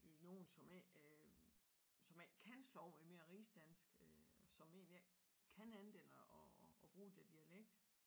Nogen som ikke øh som ikke kan slå over i mere rigsdansk øh som egentlig ikke kan andet end at at bruge den dialekt